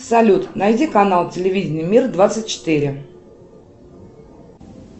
салют найди канал телевидения мир двадцать четыре